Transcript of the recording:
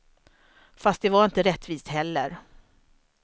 Fast det var inte rättvist heller.